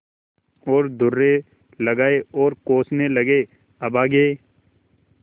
और दुर्रे लगाये और कोसने लगेअभागे